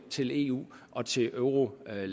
til eu og til eurolandene